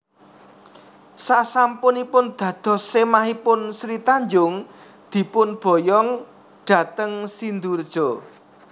Sasampunipun dados semahipun Sri Tanjung dipun boyong dhateng Sindurejo